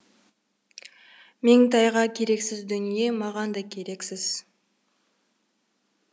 меңтайға керексіз дүние маған да керексіз